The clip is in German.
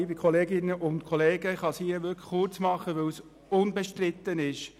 Ich kann mich hier wirklich kurz fassen, weil das Programm unbestritten ist.